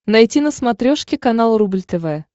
найти на смотрешке канал рубль тв